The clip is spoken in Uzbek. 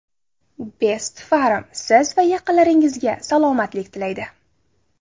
Best Pharm - Siz va yaqinlaringizga salomatlik tilaydi.